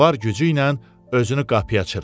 Var gücü ilə özünü qapıya çırpdı.